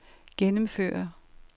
gennemføre